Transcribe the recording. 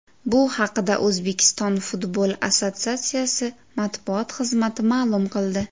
Bu haqida O‘zbekiston futbol assotsiatsiyasi matbuot xizmati ma’lum qildi .